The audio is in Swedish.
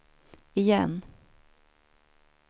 igen